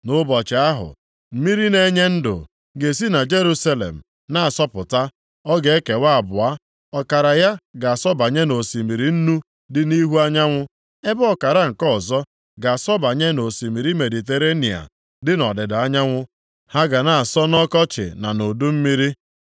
Nʼụbọchị ahụ, mmiri na-enye ndụ ga-esi na Jerusalem na-asọpụta. Ọ ga-ekewa abụọ, ọkara ya ga-asọbanye nʼosimiri Nnu dị nʼihu anyanwụ ebe ọkara nke ọzọ ga-asọbanye nʼosimiri Mediterenịa dị nʼọdịda anyanwụ. Ha ga na-asọ nʼọkọchị na nʼudu mmiri.